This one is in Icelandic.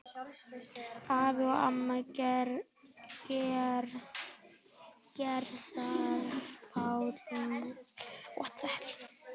Afi og amma Gerðar, Páll Markússon og Karítas